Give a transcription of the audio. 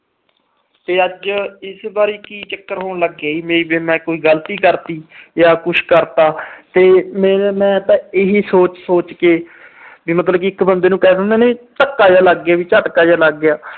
ਤੇ ਅੱਜ ਇਸ ਬਾਰੇ ਕੀ ਚੱਕਰ ਹੋਣ ਲੱਗ ਗਿਆ ਕਿ ਮੈਂ ਕੋਈ ਗਲਤੀ ਕਰਤੀ ਜਾਂ ਮੈਂ ਕੁਛ ਕਰਤਾ। ਇਹੀ ਮੈਂ ਸੋਚ ਸੋਚ ਕੇ ਮਤਲਬ ਇੱਕ ਬੰਦੇ ਨੂੰ ਕਹਿ ਦਿੰਦੇ ਨੇ, ਧੱਕਾ ਜਿਹਾ ਲੱਗ ਗਿਆ, ਝਟਕਾ ਜਿਹਾ ਲੱਗ ਗਿਆ।